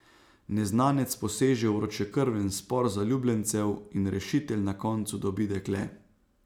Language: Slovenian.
Neznanec poseže v vročekrven spor zaljubljencev in rešitelj na koncu dobi dekle.